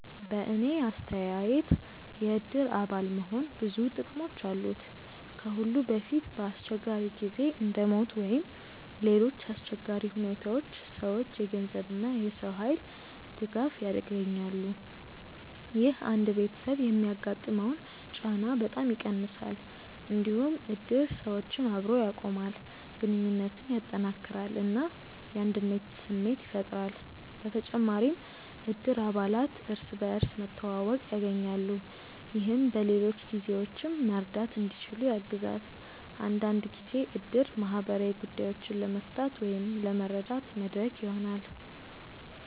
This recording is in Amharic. በእኔ አስተያየት የእድር አባል መሆን ብዙ ጥቅሞች አሉት። ከሁሉ በፊት በአስቸጋሪ ጊዜ እንደ ሞት ወይም ሌሎች አሰቸጋሪ ሁኔታዎች ሰዎች የገንዘብ እና የሰው ኃይል ድጋፍ ያገኛሉ። ይህ አንድ ቤተሰብ የሚያጋጥመውን ጫና በጣም ይቀንሳል። እንዲሁም እድር ሰዎችን አብሮ ያቆማል፣ ግንኙነትን ያጠናክራል እና የአንድነት ስሜት ያፈጥራል። በተጨማሪም እድር አባላት እርስ በርስ መተዋወቅ ያገኛሉ፣ ይህም በሌሎች ጊዜዎችም መርዳት እንዲችሉ ያግዛል። አንዳንድ ጊዜ እድር ማህበራዊ ጉዳዮችን ለመፍታት ወይም ለመረዳት መድረክ ይሆናል።